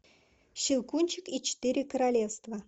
щелкунчик и четыре королевства